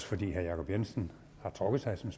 fordi herre jacob jensen har trukket sig som